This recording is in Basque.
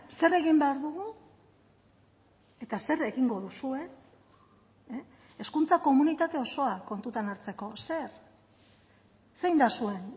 zer egin behar dugu eta zer egingo duzue hezkuntza komunitate osoa kontutan hartzeko zer zein da zuen